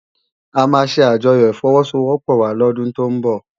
Amá sé ájòyò ifòwòsówòpò wá lòdún tó n bò